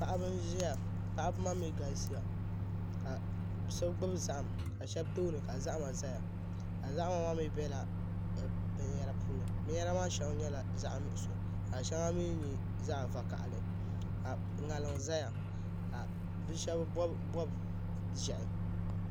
Paɣaba n ʒiya paɣaba maa mii galisiya ka so gbubi zaham ka shab tooni ka zahama ʒɛya zahama maa mii biɛla binyɛra puuni binyɛra maa shɛli nyɛla zaɣ nuɣso ka shɛli mii nyɛ zaɣ vakaɣali ka ŋarim ʒɛya ka bi shab bob bob ʒiɛhi